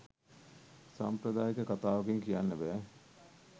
සාම්ප්‍රදායික කතාවකින් කියන්න බෑ